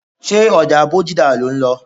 Ṣé ọjà Bódìjà lò ń lọ?